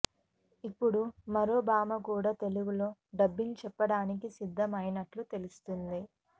ఇప్పుడు మరో భామ కూడా తెలుగులో డబ్బింగ్ చెప్పడానికి సిద్ధం అయినట్లు తెలుస్తుంది